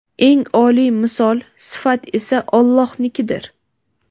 Eng oliy misol (sifat) esa Allohnikidir.